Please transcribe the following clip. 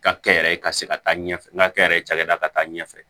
Ka kɛ yɛrɛ ka se ka taa ɲɛfɛ n ka kɛ yɛrɛ cakɛda ka taa ɲɛfɛ